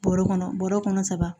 Bɔrɔ kɔnɔ bɔrɔ kɔnɔ saba